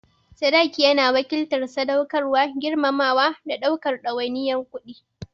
Sadaki yana wakiltar sadaukarwa, girmamawa, da ɗaukar ɗawainiyar kuɗi.